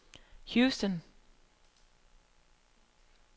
Houston